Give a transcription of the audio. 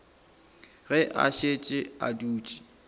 ge a šetše a dutše